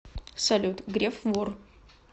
салют греф вор